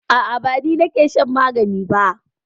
A'a ba ni ne nake shan magani ba.